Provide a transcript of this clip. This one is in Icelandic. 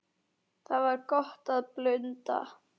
Þar var gott að blunda.